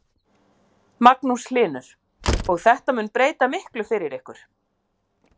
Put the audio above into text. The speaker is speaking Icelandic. Magnús Hlynur: Og þetta mun breyta miklu fyrir ykkur?